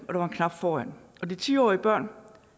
var en knap foran de ti årige børn